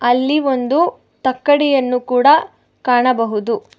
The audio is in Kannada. ಅಲ್ಲಿ ಒಂದು ತಕ್ಕಡಿಯನ್ನು ಕೂಡ ಕಾಣಬಹುದು.